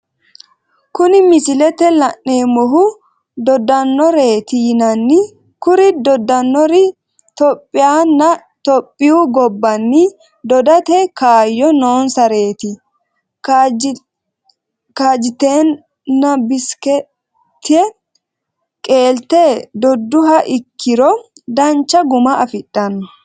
Kuni misilete la'neemohu Dodanoreeti yinanni, kuri dodanori tophiyaahonna itophiyuu gobaanni dodate kaayo noonsareti, kaajiteenabseekite qeelate doduha iikirro dancha guma afidhano